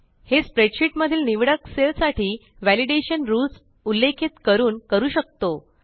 हे स्प्रेडशीट मधिल निवडक सेल साठी व्हॅलिडेशन रूल्स उल्लेखित करून करू शकतो